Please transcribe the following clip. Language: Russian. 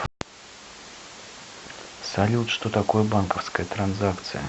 салют что такое банковская транзакция